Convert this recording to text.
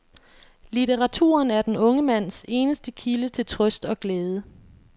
Litteraturen er den unge mands eneste kilde til trøst og glæde.